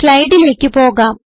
സ്ലൈഡിലേക്ക് പോകാം